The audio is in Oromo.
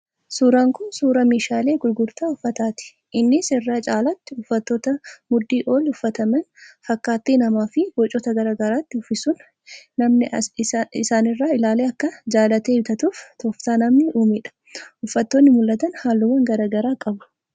Suuraan kun suuraa meeshaalee gurgurtaa uffannaati. Innis irra caalaatti uffatoota mudhii ol uffataman fakkaattii namaa fi bocoota garaagaraatti uffisuun namni isaanirraa ilaalee akka jaallatee bitatuuf tooftaa namni uumedha. Uffatoonni mul'atan halluuwwan garaagaraa qabu.